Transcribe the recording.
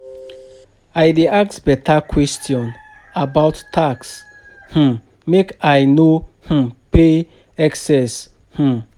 I dey ask beta question about about tax um make I no um pay excess. um